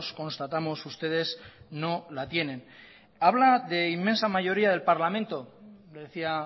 constatamos ustedes no la tienen habla de inmensa mayoría del parlamento le decía